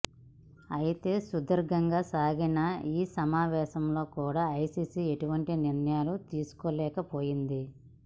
అయితే సుదీర్ఘంగా సాగిన ఈ సమావేశంలో కూడా ఐసిసి ఎటువంటి నిర్ణయం తీసుకోలేకపోయింది